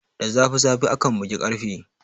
Da zafi zafi akan bugi ƙarfe.